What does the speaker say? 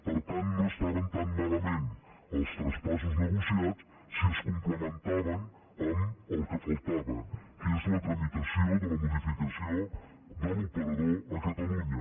per tant no estaven tan malament els traspassos negociats si es complementaven amb el que faltava que és la tramitació de la modificació de l’operador a catalunya